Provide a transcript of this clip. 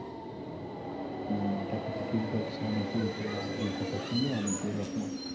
এটা কথা ঠিক বলেছো অনেকেই তোমার এই কথার সঙ্গে অনেকেই একমত,